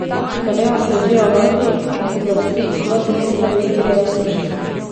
Na vejah se razvijejo majhni, oblasti, do dva centimetra veliki rjavi storžki.